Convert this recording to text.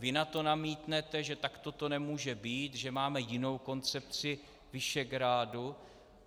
Vy na to namítnete, že takto to nemůže být, že máme jinou koncepci Visegrádu.